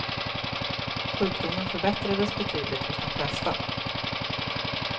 Sjukdomen förbättrades betydligt hos de flesta.